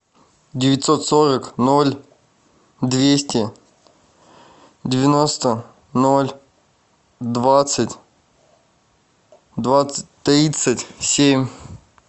девятьсот сорок ноль двести девяносто ноль двадцать двадцать тридцать семь